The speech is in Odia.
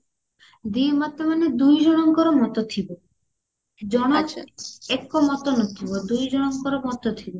ଦି ମତ ମାନେ ଦୁଇଜଣଙ୍କର ମତ ଥିବ ଜଣ ଏକ ମତ ନଥିବ ଦୁଇଜଣଙ୍କର ମତ ଥିବ